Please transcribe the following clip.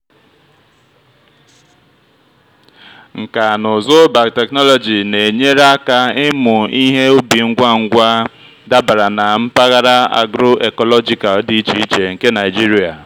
nkà na ụzụ biotechnology na-enyere aka ịmụ ihe ubi ngwa ngwa dabara na mpaghara agro-ecological dị iche iche nke nigeria.